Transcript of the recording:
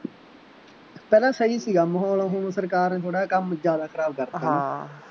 ਪਹਿਲਾਂ ਸਹੀ ਸੀਗਾ ਮਾਹੌਲ, ਹੁਣ ਸਰਕਾਰ ਨੇ ਥੋੜ੍ਹਾ ਜਿਹਾ ਕੰਮ ਜ਼ਿਆਦਾ ਖਰਾਬ ਕਰ ਤਾ ਹੈ ਨਾ